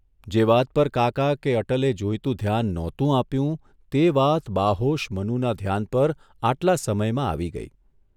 જે વાત પર કાકા કે અટલે જોઇતું ધ્યાન નહોતું આપ્યું તે વાત બાહોશ મનુના ધ્યાન પર આટલા સમયમાં આવી ગઇ.